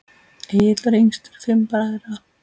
Egill var yngstur fimm bræðra.